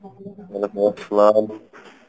ওলাইকুম আসসালাম।